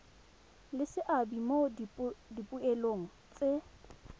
le seabe mo dipoelong tse